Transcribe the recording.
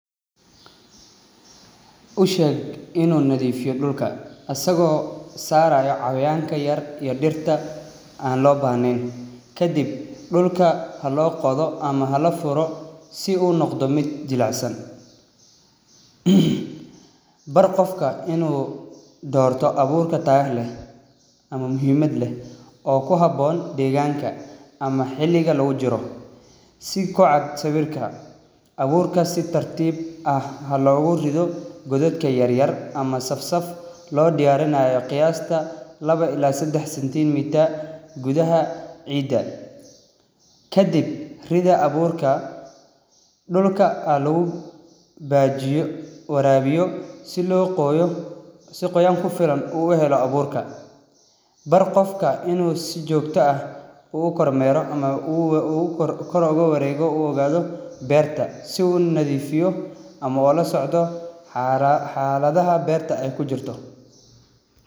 U sheeg inu nadiifiyo dhulka asago saarayo cayayaanka yar iyo dhirta aan loo bahnayn. Kadib dhulka haloo qodo ama hala furo si u noqdo mid jilicsan. bar qofka inu doorta abuurka tayaha leh ama muhiimaad leh oo ku haboon deeganka ama xiliga lagujiro si ku cad sawirka. Abuurka si tartib ah halogurido godadka yaryar ama sabsab loo diyaarinayo qiyasta ee labo ila sadax centimetre gudaha ciida. Kadib rida abuurka dhulka halagu hagaajiyo waraabiyo si loo qooyo si qoyan ku filan u helo abuurka. Bar qofka inu si jogta ah uu kormeero ama kor ogu wareego uu ogaado beerta si uu nadiifiyo ama ola socdo xaaladaha beerta ay kujirto.